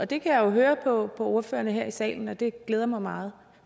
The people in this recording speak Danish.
det kan jeg jo høre på ordførerne her i salen og det glæder mig meget